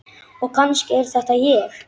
Og kannski er þetta ég.